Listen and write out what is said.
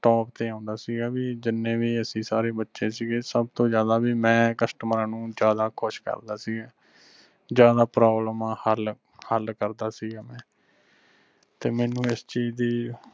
top ਤੇ ਓਂਦਾ ਸੀਗਾ ਵੀ ਜਿੰਨੇ ਵੀ ਅਸੀਂ ਸਾਰੇ ਬਚੇ ਸੀਗੇ ਸਬਤੋ ਜ਼ਿਆਦਾ ਵੀ ਮੈਂ ਕਸਟਮਰਾਂ ਨੂੰ ਜ਼ਿਆਦਾ ਖੁਸ਼ ਕਰਦਾ ਸੀਗਾ। ਜਿਆਦਾ ਪਰੋਬਲਾਮਾ ਹੱਲਹੱਲ ਕਰਦਾ ਸੀਗਾ ਮੈ ਤੇ ਮੈਨੂੰ ਐਸ ਚੀਜ ਦੀ